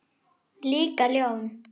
Líka ljón.